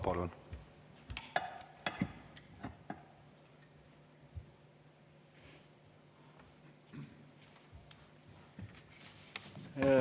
Palun!